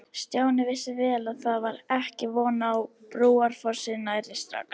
Stjáni vissi vel að það var ekki von á Brúarfossi nærri strax.